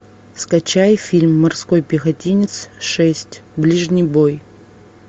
скачай фильм морской пехотинец шесть ближний бой